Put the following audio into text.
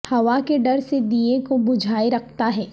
ہوا کے ڈر سے دئیے کو بجھائے رکھتا ہے